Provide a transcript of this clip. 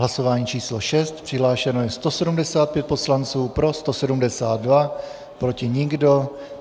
Hlasování číslo 6, přihlášeno je 175 poslanců, pro 172, proti nikdo.